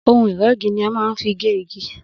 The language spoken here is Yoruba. Ohun ìrégi ni a má n fi gé igi